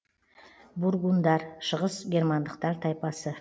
бургундар шығыс германдықтар тайпасы